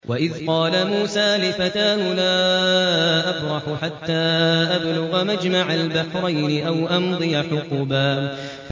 وَإِذْ قَالَ مُوسَىٰ لِفَتَاهُ لَا أَبْرَحُ حَتَّىٰ أَبْلُغَ مَجْمَعَ الْبَحْرَيْنِ أَوْ أَمْضِيَ حُقُبًا